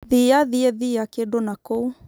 thia thiĩthĩa kĩdũ nakũu